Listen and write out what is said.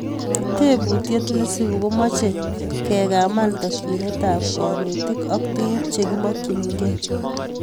Tebutiet nesubu komache kegaman takyinet ab kanetik ak tuguk chegimakyingei